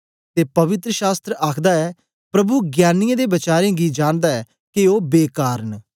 ते पी पवित्र शास्त्र आखदा ऐ प्रभु ज्ञानीयें दे वचारें गी जांनदा ऐ के ओ बेकार न